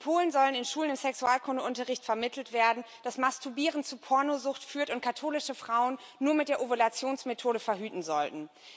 In Polen soll in Schulen Sexualkundeunterricht vermittelt werden, dass Masturbieren zu Pornosucht führt und katholische Frauen nur mit der Ovulationsmethode verhüten sollten.